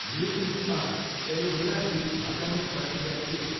Nutriorg aloe vera juice फर्काउने प्रक्रिया के हो?